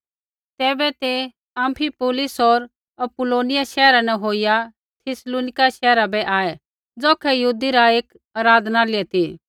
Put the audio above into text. तैबै ते अम्फिपुलिस होर अपुल्लोनिया शैहरा न होईया थिस्सलुनीका शैहरा बै आऐ ज़ौखै यहूदी रा एक आराधनालय ती